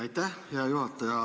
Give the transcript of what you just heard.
Aitäh, hea juhataja!